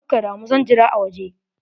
Kakkadamu, zan jira a waje.